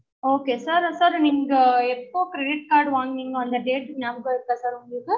okay sir sir நீங்க எப்போ credit card வாங்குனிங்க அந்த date நியாபகம் இருக்கா sir உங்களுக்கு